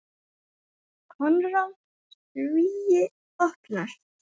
Konráð: Svíi opnast.